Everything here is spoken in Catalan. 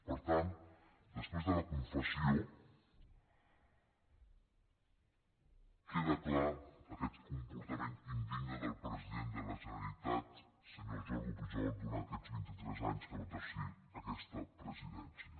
per tant després de la confessió queda clar aquest comportament indigne del president de la generalitat senyor jordi pujol durant aquests vint i tres anys que va exercir aquesta presidència